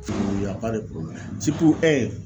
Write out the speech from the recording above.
ya pa de porobilɛmu siritu e